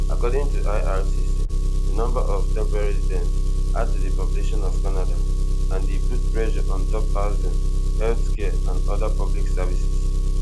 according to ircc di number of temporary residents add to di population of canada and e put pressure ontop housing healthcare and oda public services